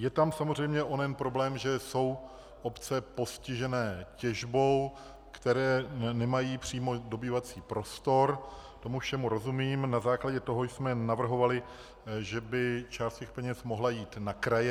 Je tam samozřejmě onen problém, že jsou obce postižené těžbou, které nemají přímo dobývací prostor, tomu všemu rozumím, na základě toho jsme navrhovali, že by část těch peněz mohla jít na kraje.